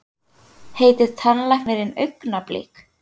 Heitir tannlæknirinn Augnablik?